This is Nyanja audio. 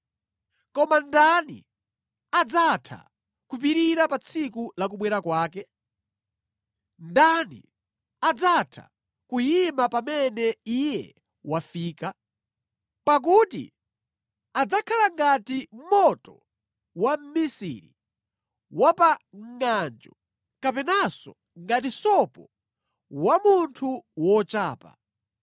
Koma ndani adzatha kupirira pa tsiku la kubwera kwake? Ndani adzatha kuyima pamene Iye wafika? Pakuti adzakhala ngati moto wa mmisiri wa pa ngʼanjo, kapenanso ngati sopo wa munthu wochapa.